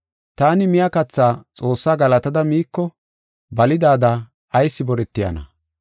Taani miya katha Xoossa galatada miiko balidada ayis boretiyana?